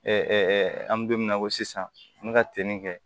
an bɛ don min na ko sisan an bɛ ka ten de